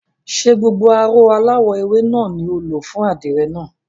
Ṣé gbogbo aró aláwọ̀ ewé náà ni o lò fún àdìrẹ náà?